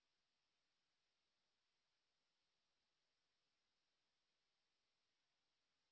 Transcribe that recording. ਇਹ ਸਾਇਟ ਤੁਹਾਨੂੰ operating system CPU RAM graphics card case ਅਤੇ ਹਾਰਡ ਡ੍ਰਾਈਵ ਬਾਰੇ ਗਾਇਡ ਕਰ ਸਕਦੀ ਹੈ